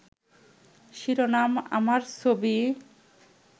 শিরোনাম আমার ছবি